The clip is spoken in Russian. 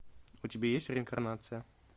у тебя есть реинкарнация